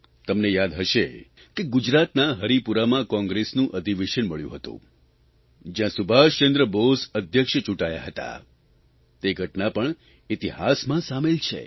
તમને યાદ હશે કે ગુજરાતના હરિપુરામાં કોંગ્રેસનું અધિવેશન મળ્યું હતું જ્યાં સુભાષચંદ્ર બોઝ અધ્યક્ષ ચૂંટાયા હતા તે ઘટના પણ ઇતિહાસમાં સામેલ છે